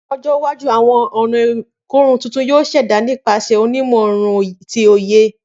Ni ọjọ iwaju awọn ọna ikorun tuntun yoo ṣẹda nipasẹ onimọ irun ti oye.